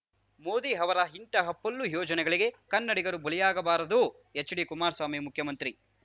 ಮೋದಿ ಅವರ ಇಂತಹ ಪೊಳ್ಳು ಯೋಜನೆಗಳಿಗೆ ಕನ್ನಡಿಗರು ಬಲಿಯಾಗಬಾರದು ಎಚ್‌ಡಿಕುಮಾರಸ್ವಾಮಿ ಮುಖ್ಯಮಂತ್ರಿ